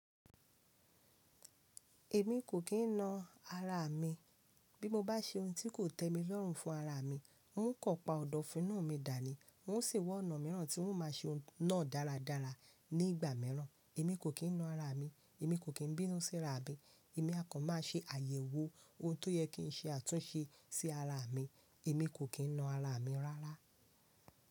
Èmi kò kín na ara mi. Bí mo bá ṣe ohun tí kò tẹ́ mi lọ́rùn fún ara mi, n ó kan pa ọ̀dọ̀fin inu mi dàní. N ó sì wa ọ̀nà mìíràn tí n ó máa ṣe ohun náà dáradára ní ìgbà mìíràn. Èmi kò kín na ara mi, èmi kò kín bínú sí ara mi. Èmi a kàn má ṣe àyẹ̀wò ohun tó yẹ kí n ṣe àtúnṣe sí ara mi. Èmi kò kín na ara mi rárá.